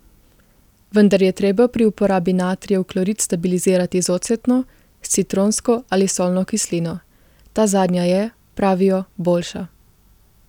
Vendar je treba pri uporabi natrijev klorit stabilizirati z ocetno, s citronsko ali solno kislino, ta zadnja je, pravijo, boljša.